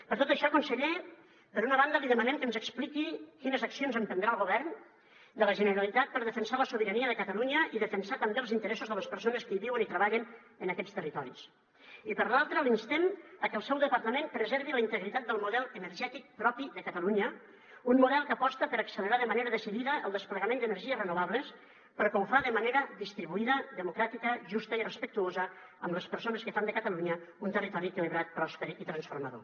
per tot això conseller per una banda li demanem que ens expliqui quines accions emprendrà el govern de la generalitat per defensar la sobirania de catalunya i defensar també els interessos de les persones que hi viuen i treballen en aquests territoris i per l’altra l’instem a que el seu departament preservi la integritat del model energètic propi de catalunya un model que aposta per accelerar de manera decidida el desplegament d’energies renovables però que ho fa de manera distribuïda democràtica justa i respectuosa amb les persones que fan de catalunya un territori equilibrat pròsper i transformador